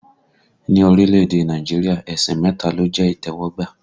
Ni orílẹ̀èdè Nàìjíríà, ẹ̀sìn mẹta ló jẹ́ ìtẹ́wọ́gbà